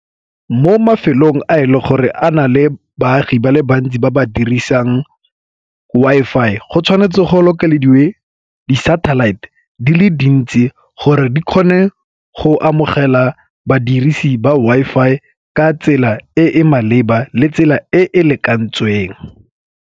Mo mafelong a e le gore a na le baagi ba le bantsi ba ba dirisang Wi-Fi go tshwanetse go lokela dingwe di satellite di le dintsi gore di kgone go amogela badirisi ba Wi-Fi ka tsela e e maleba le tsela e e lekantsweng.